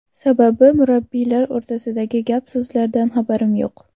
Sababi, murabbiylar o‘rtasidagi gap-so‘zlardan xabarim yo‘q.